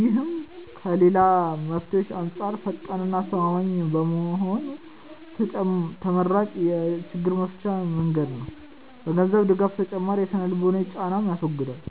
ይህም ከ ሌላ መፍትሄዎች አንጻር ፈጣን እና አስተማማኝ በመሆኑ ተመራጭ የ ችግር መፍቻ መንገድ ነው። ከ ገንዘብ ድጋፍ ተጨማሪ የ ስነ-ልቦናዊ ጫናንንም ያስወግዳል።